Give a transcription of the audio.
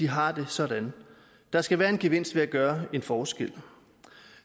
har det sådan der skal være en gevinst ved at gøre en forskel